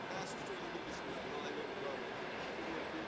Təəssüf ki, onun bir qisminə nail oldular, biz bitki verdik.